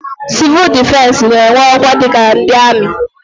Sivuul difensi n'enwe ọkwa dika ndị amị.